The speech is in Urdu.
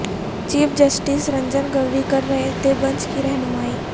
چیف جسٹس رنجن گگوئی کر رہے تھے بنچ کی رہنمائی